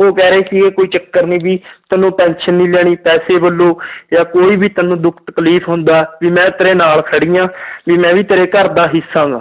ਉਹ ਕਹਿ ਰਹੇ ਸੀਗੇ ਕੋਈ ਚੱਕਰ ਨੀ ਵੀ ਤੈਨੂੰ tension ਨੀ ਲੈਣੀ ਪੈਸੇ ਵੱਲੋਂ ਜਾਂ ਕੋਈ ਵੀ ਤੈਨੂੰ ਦੁੱਖ ਤਕਲੀਫ਼ ਹੁੰਦਾ, ਵੀ ਮੈਂ ਤੇਰੇ ਨਾਲ ਖੜੀ ਹਾਂ ਵੀ ਮੈਂ ਵੀ ਤੇਰੇ ਘਰਦਾ ਹਿੱਸਾ ਗਾ।